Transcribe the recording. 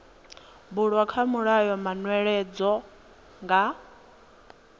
bulwa kha mulayo manweledzo nga